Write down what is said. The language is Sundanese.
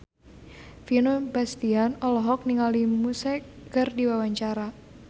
Vino Bastian olohok ningali Muse keur diwawancara